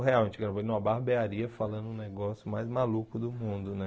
A gente gravou em uma barbearia falando um negócio mais maluco do mundo, né?